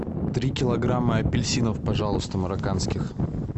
три килограмма апельсинов пожалуйста марокканских